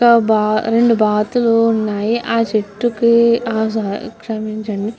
రెండు బాతులు ఉన్నాయి ఆ చెట్టుకి హ క్షమించండి.